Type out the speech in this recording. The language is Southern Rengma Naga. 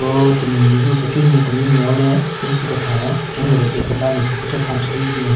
Ro temi mehvu pechenyu nme tenunyu nme auo le ben syu kethan-o pechenyu gu le bag keda nme si pvu cho chonchü thyu hyu binyon.